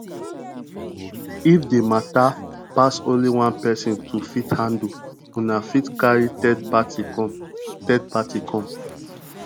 if di matter pass only one person to fit handle una fit carry third party come third party come